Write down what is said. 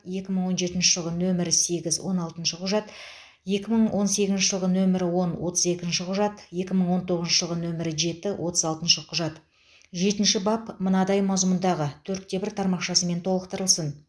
екі мың он жетінші жылғы нөмірі сегіз он алтыншы құжат екі мың он сегізінші жылғы нөмірі он отыз екінші құжат екі мың он тоғызыншы жылғы нөмірі жеті отыз алтыншы құжат жетінші бап мынадай мазмұндағы төртте бір тармақшамен толықтырылсын